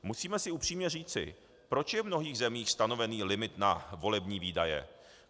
Musíme si upřímně říci, proč je v mnohých zemích stanovený limit na volební výdaje?